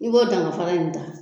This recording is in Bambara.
I b'o dangafara in ta